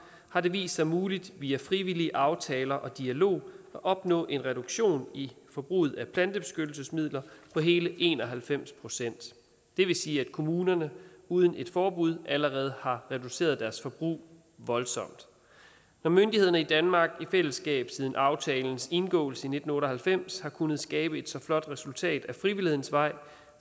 har det vist sig muligt via frivillige aftaler og dialog at opnå en reduktion i forbruget af plantebeskyttelsesmidler på hele en og halvfems procent det vil sige at kommunerne uden et forbud allerede har reduceret deres forbrug voldsomt når myndighederne i danmark i fællesskab siden aftalens indgåelse i nitten otte og halvfems har kunnet skabe et så flot resultat ad frivillighedens vej